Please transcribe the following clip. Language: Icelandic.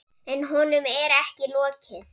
En honum er ekki lokið.